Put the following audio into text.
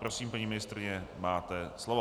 Prosím, paní ministryně, máte slovo.